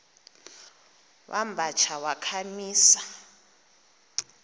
wamba tsha wakhamisa